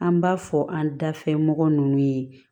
An b'a fɔ an dafɛ mɔgɔ nunnu ye